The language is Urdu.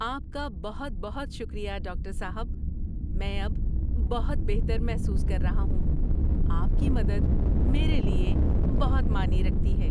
آپ کا بہت بہت شکریہ ڈاکٹر صاحب! میں اب بہت بہتر محسوس کر رہا ہوں۔ آپ کی مدد میرے لیے بہت معنی رکھتی ہے۔